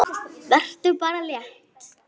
Vertu bara létt!